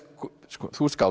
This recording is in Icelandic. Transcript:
þú ert skáld